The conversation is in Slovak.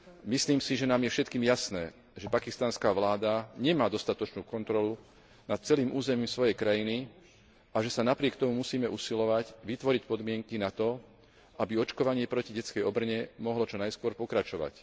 Myslím si, že nám je všetkým jasné, že pakistanská vláda nemá dostatočnú kontrolu nad celým územím svojej krajiny a že sa napriek tomu musíme usilovať vytvoriť podmienky na to, aby očkovanie proti detskej obrne mohlo čo najskôr pokračovať.